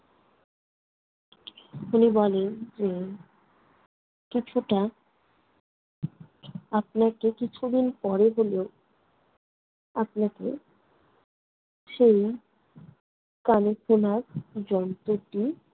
উনি বলেন যে কিছুটা আপনাকে কিছুদিন পরে হলেও আপনাকে সেই কানে শোনার যন্ত্রটি